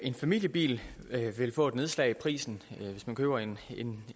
en familiebil vil få et nedslag i prisen hvis man køber en en